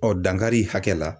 dankari hakɛ la.